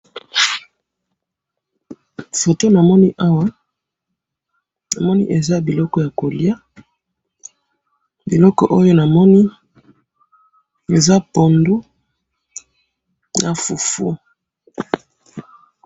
photo na moni awa, na moni eza biloko yako lia biloko oyo na moni eza pondu na fufu